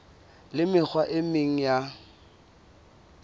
le mekgwa e meng ya